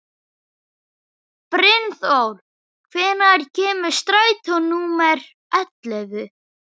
Brynþór, hvenær kemur strætó númer ellefu?